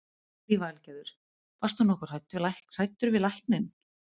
Lillý Valgerður: Varst þú nokkuð hræddur við lækninn?